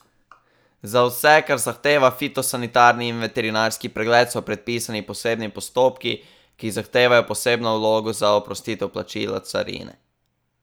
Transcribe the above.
Za vse, kar zahteva fitosanitarni in veterinarski pregled, so predpisani posebni postopki, ki zahtevajo posebno vlogo za oprostitev plačila carine.